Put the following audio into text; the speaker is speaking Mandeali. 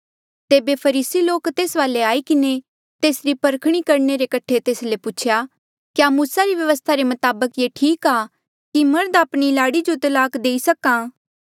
तेबे फरीसी लोक तेस वाले आई किन्हें तेसरी परखणी करणे रे कठे तेस ले पूछेया क्या मूसा री व्यवस्था रे मताबक ये ठीक आ कि मर्ध आपणी लाड़ी जो तलाक देई सक्हा